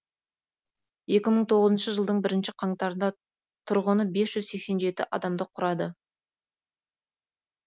екі мың тоғызыншы жылдың бірінші қаңтарында тұрғыны бес жүз сексен жеті адамды құрады